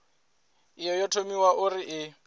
iyi yo thomiwa uri i